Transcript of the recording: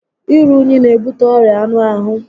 Iru únyí n'ebute ọrịa anụ ahụ